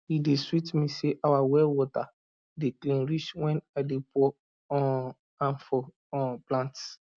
e dey sweet me say our well water dey clean reach when i dey pour um am for um plants